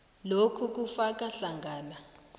lokhu kufaka hlangana